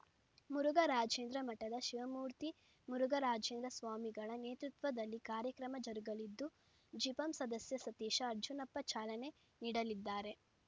ಮುರುಘರಾಜೇಂದ್ರ ಮಠದ ಶಿವಮೂರ್ತಿ ಮುರುಘರಾಜೇಂದ್ರ ಸ್ವಾಮಿಗಳ ನೇತೃತ್ವದಲ್ಲಿ ಕಾರ್ಯಕ್ರಮ ಜರುಗಲಿದ್ದು ಜಿಪಂ ಸದಸ್ಯ ಸತೀಶ ಅರ್ಜುನಪ್ಪ ಚಾಲನೆ ನೀಡಲಿದ್ದಾರೆ